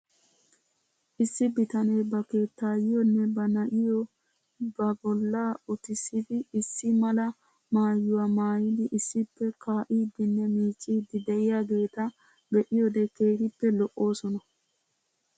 Issi bitanee ba keettaayyiyoonne ba na'iyoo be bolla utissidi issi mala maayuwaa maayidi issippe kaa'iiddinne miicciidi de'iyaageeta be'iyoode keehippe lo'oosona.